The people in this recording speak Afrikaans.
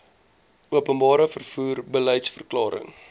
openbare vervoer beliedsverklaring